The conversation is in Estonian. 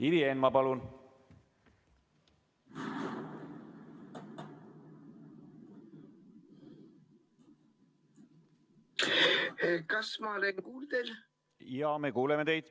Ivi Eenmaa, palun!